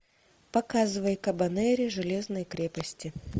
показывай кабанери железной крепости